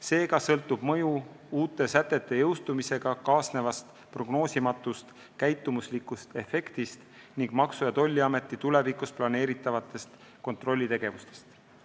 Seega sõltub mõju uute sätete jõustumisega kaasnevast prognoosimatust käitumuslikust efektist ning Maksu- ja Tolliameti tulevikus planeeritavast kontrollitegevusest.